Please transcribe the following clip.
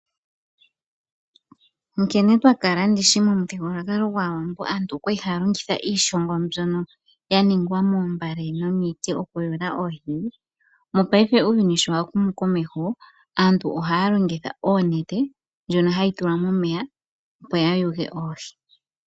Nkene twakala ndishi momuthigululwakalo gwaawambo aantu okwali haya longitha iishongo mbyoka ya ningwa moombale no miiti oku yuula oohi. Mopaife uuyuni sho wa humu komesho aantu ohaya longitha oonete ndjoka hayi tulwa momeya opo ya yuge oohi.